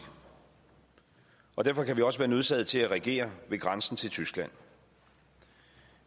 og derfor kan vi også være nødsaget til at reagere ved grænsen til tyskland